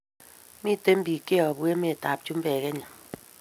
Miten pik che yabu emet ab chumbek kenya